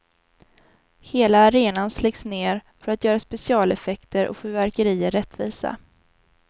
Hela arenan släcks ned för att göra specialeffekter och fyrverkerier rättvisa.